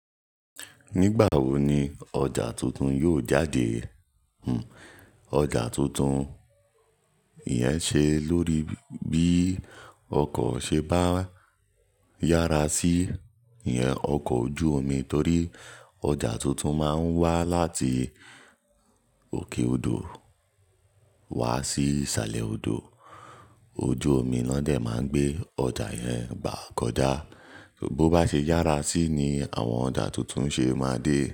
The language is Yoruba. Nígbà wo ni ọjà tuntun yóò jáde? Hmmm ọjà tuntun iyẹn ṣe lórí bí ọkọ̀ ṣe bá yára sí ìyẹn ọkọ̀ ojú omi torí ọjà tuntun máa ń wá láti òkè odò wá sí ìsàlẹ̀ odò. Ojú omi náà dè máa ń gbé ọjà yẹn gbá kọ já. Bo bá ṣe yára sí ni àwọn ọjà tuntun ṣe máa dé.